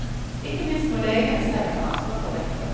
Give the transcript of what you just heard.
Ikke minst må legene selv ta ansvaret for dette.